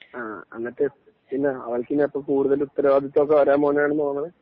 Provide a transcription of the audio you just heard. ആ എന്നിട്ട് പിന്നെ അവൾക്കിനി അപ്പോ കൂടുതൽ ഉത്തരവാദിത്തം ഒക്കെ വരാൻ പോകാണുന്നു തോന്നുന്നു